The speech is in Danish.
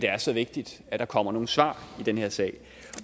er så vigtigt at der kommer nogle svar i den her sag